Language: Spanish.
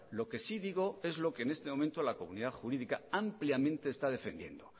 lo que sí digo es lo que en este momento la comunidad jurídica ampliamente está defendiendo